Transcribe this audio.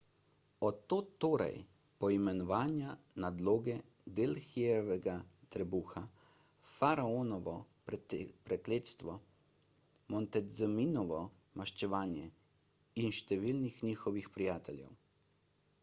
od tod torej poimenovanja nadloge delhijevrga trebuha faraonovo prekletstvo montezumino maščevanje in številnih njihovih prijateljev